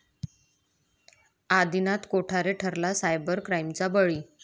आदिनाथ कोठारे ठरला सायबर क्राईमचा बळी